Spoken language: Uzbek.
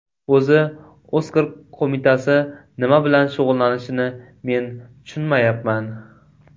O‘zi Oskar qo‘mitasi nima bilan shug‘ullanishini men tushunmayapman.